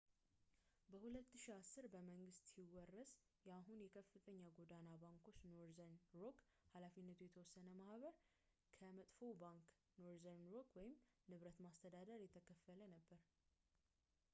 በ2010፣ በመንግሥት ሲወረስ የአሁኑ የከፍተኛ ጎዳና ባንክ ኖርዘርን ሮክ ኃ.የተ.ማ ከ«መጥፎው ባንክ» ኖርዘርን ሮክ ንብረት ማስተዳደር የተከፈለ ነበር